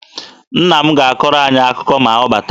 Nna m ga-akọrọ anyị akụkọ ma ọ bata.